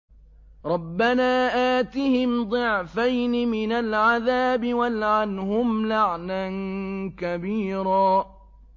رَبَّنَا آتِهِمْ ضِعْفَيْنِ مِنَ الْعَذَابِ وَالْعَنْهُمْ لَعْنًا كَبِيرًا